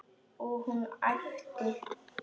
Og hún æpti.